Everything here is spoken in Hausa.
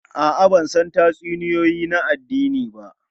A'a, ban san tatsuniyoyi na addini ba.